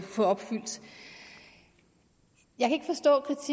få opfyldt jeg kan